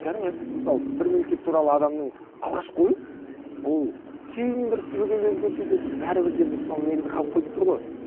кәдімгі мысалы бір мемлекет туралы адамның алғашқы ойы ол кейін бір түбегейлі өзгерсе де бір бәрібір де бір сол негізі қалып қойып тұр ғой